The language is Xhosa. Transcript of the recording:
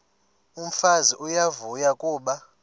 umfazi uyavuya kuba